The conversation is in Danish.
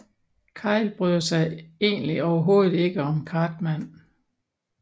Kyle bryder sig egentlig overhovedet ikke om Cartman